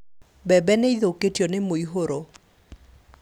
Mbembe nĩithũkĩtio nĩ mũihũro